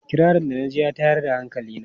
Kirarin da na ji ya tayar da hankali na.